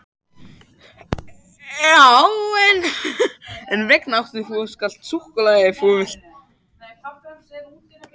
En hvers vegna áttu þá allt þetta súkkulaði ef þú ætlar ekki að borða það?